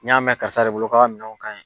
N y'a mɛn kari de bolo k'a ka minɛnw